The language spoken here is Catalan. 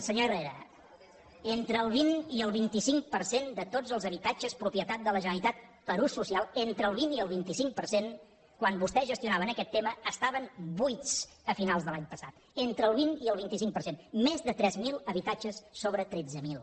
senyor herrera entre el vint i el vint cinc per cent de tots els habitatges propietat de la generalitat per a ús social entre el vint i el vint cinc per cent quan vostès gestionaven aquest tema estaven buits a finals de l’any passat entre el vint i el vint cinc per cent més de tres mil habitatges sobre tretze mil